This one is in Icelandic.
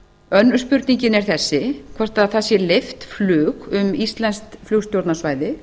önnur spurningin er þessi hvort það sé leyft flug um íslenskt flugstjórnarsvæði